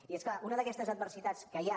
i és clar una d’aquestes adversitats que hi ha